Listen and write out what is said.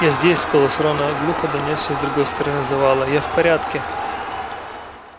я здесь голос рона глухо донёсся с другой стороны завала я в порядке